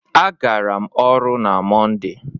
A gara m ọrụ na Mọnde.